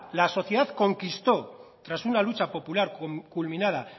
la sociedad conquistó tras una lucha popular culminada